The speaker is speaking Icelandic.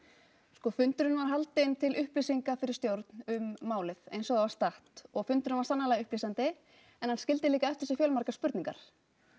sko fundurinn var haldinn til upplýsingar fyrir stjórn um málið eins og það var statt og fundurinn var sannarlega upplýsandi en hann skildi líka eftir sig fjölmargar spurningar